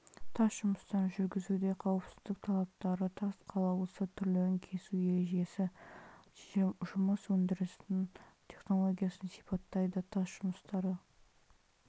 тас жұмыстарын жүргізуде қауіпсіздік талаптары тас қалауысы түрлерін кесу ережесін жұмыс өндірісі технологиясын сипаттайды тас жұмыстары